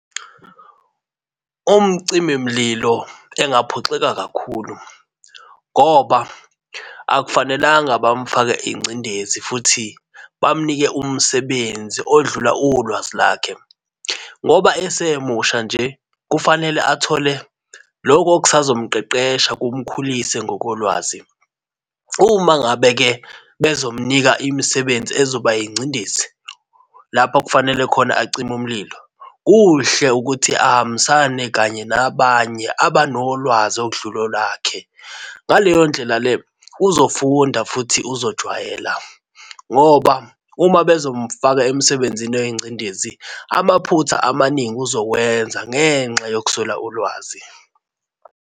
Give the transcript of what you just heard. Umcimimlilo engaphoxeka kakhulu ngoba akufanelanga bamufake ingcindezi futhi bamunike umsebenzi odlula ulwazi lakhe ngoba esemusha nje kufanele athole loku okusazo mqeqesha, kumkhulise ngokolwazi. Uma ngabe-ke bebezomnika imisebenzi ezoba ingcindezi lapho kufanele khona acime umlilo, kuhle ukuthi ahambisane kanye nabanye abanolwazi okudlula olwakhe. Ngaleyo ndlela le uzofunda futhi uzojwayela ngoba uma bezomfaka emsebenzini oyingcindezi amaphutha amaningi uzowenza ngenxa yokuswela ulwazi.